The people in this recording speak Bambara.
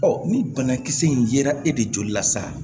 ni banakisɛ in yera e de joli la sa